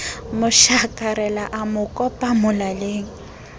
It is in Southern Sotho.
mo shakarela a mo kopamolaleng